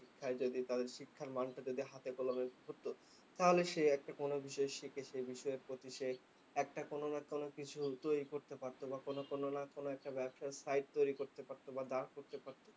শিক্ষায় যদি তাদের শিক্ষার মানটা যদি হাতে কলমে ধরতো। তাহলে সে একটা কোনো বিষয়ে শিখে সে বিষয়ের প্রতি সে একটা কোনো না কোনো কিছু তৈরী করতে পারতো বা কোনো কোনো না কোনো একটা ব্যবসার site তৈরী করতে পারতো বা দাঁড় করতে পারতো।